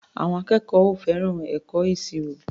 Àwọn akẹ́kọ̀ọ́ ò fẹ́ràn ẹ̀kọ́ ìṣirò.